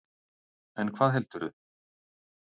En hvað heldurðu?